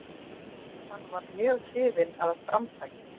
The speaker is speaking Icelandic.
Hann varð mjög hrifinn af framtaki